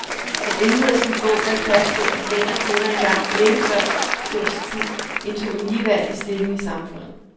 Han indleder sin bog med at fastslå, at mænd og kvinder engang, længe før historisk tid, indtog en ligeværdig stilling i samfundet.